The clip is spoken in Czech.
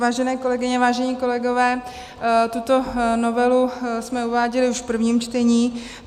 Vážené kolegyně, vážení kolegové, tuto novelu jsme uváděli už v prvním čtení.